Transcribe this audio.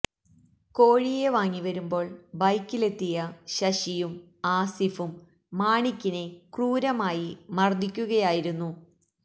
കോഴിയെ വാങ്ങി വരുമ്പോൾ ബൈക്കിലെത്തിയ ശശിയും ആസിഫും മാണിക്കിനെ ക്രൂരമായി മർദ്ദിക്കുകയായിരുന്നു